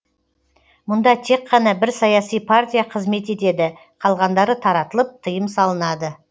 мұнда тек қана бір саяси партия қызмет етеді қалғандары таратылып тыйым салынады